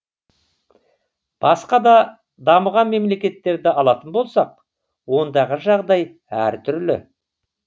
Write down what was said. басқа да дамыған мемлекеттерді алатын болсақ ондағы жағдай әртүрлі